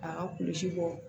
A ka kulusi bɔ